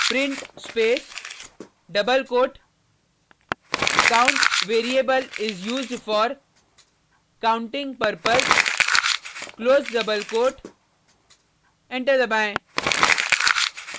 print space double quote count variable is used for counting purpose close double quote enter दबाएँ